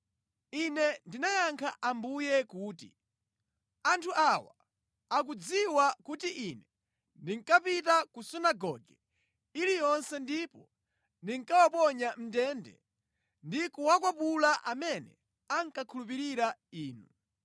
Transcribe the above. Ine ndinayankha Ambuye kuti, “Anthu awa akudziwa kuti ine ndinkapita ku sunagoge iliyonse ndipo ndinkawaponya mʼndende ndi kuwakwapula amene ankakhulupirira inu.